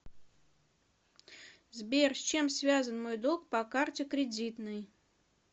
сбер с чем связан мой долг по карте кредитной